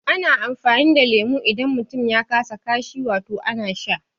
Ana amfani da leme idan mutum ya kasa kashi, wato ana sha